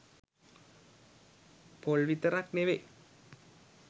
පොල් විතරක් නෙවෙයි